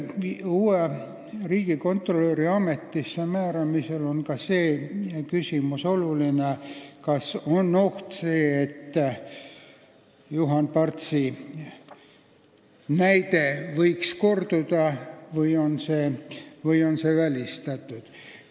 Uue riigikontrolöri ametisse määramisel on oluline seegi küsimus, kas on oht, et Juhan Partsi juhtum võib korduda, või on see välistatud.